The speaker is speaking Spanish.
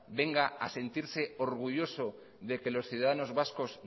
venga a sentirse orgulloso de que los ciudadanos vascos